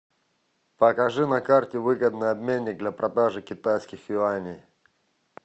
покажи на карте выгодный обменник для продажи китайских юаней